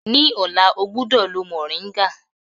Ní ọ̀la, ọ gbúdọ̀ lo mòríńgà.